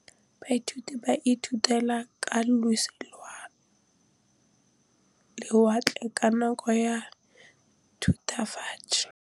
Baithuti ba ithutile ka losi lwa lewatle ka nako ya Thutafatshe.